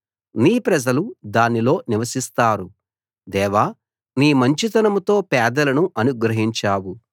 నీ ప్రజలు దానిలో నివసిస్తారు దేవా నీ మంచితనంతో పేదలను అనుగ్రహించావు